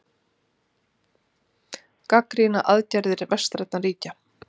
Gagnrýna aðgerðir vestrænna ríkja